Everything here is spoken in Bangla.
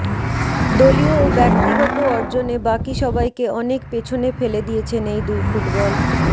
দলীয় ও ব্যক্তিগত অর্জনে বাকি সবাইকে অনেক পেছনে ফেলে দিয়েছেন এই দুই ফুটবল